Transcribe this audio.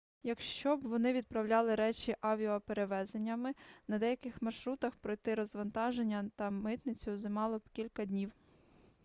якщо б вони відправляли речі авіаперевезеннями на деяких маршрутах пройти розвантаження та митницю займало б кілька днів